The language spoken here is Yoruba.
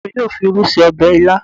Ìyá mi yóò fi irú ṣe ọbẹ̀ ilá